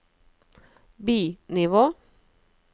bi-nivå